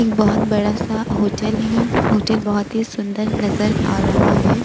एक बहुत बड़ा सा होटल है होटल बहुत ही सुन्दर नज़र आ रहा है